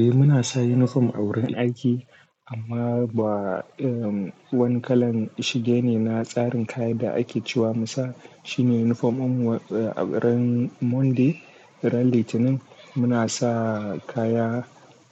Eh muna sa unifom a wurin aiki amma ba, irin wani kalan shige ne na tsarin kayan da ake cewa. Musa shine unifom ɗin mu a wurin Monday ran litinin muna sa kaya